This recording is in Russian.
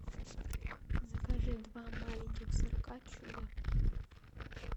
закажи два маленьких сырка чудо